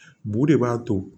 Bu de b'a to